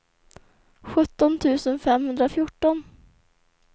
sjutton tusen femhundrafjorton